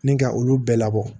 Ni ka olu bɛɛ labɔ